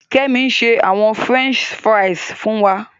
Kẹmí n ṣè àwọn Frẹnṣì fríṣì fún wà.